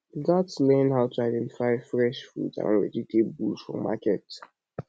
we gats learn how to identify fresh fruits and vegetables for market